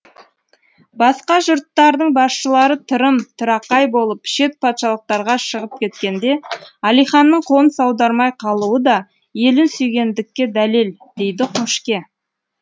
басқа жұрттардың басшылары тырым тырақай болып шет патшалықтарға шығып кеткенде әлиханның қоныс аудармай қалуы да елін сүйгендікке дәлел дейді қошке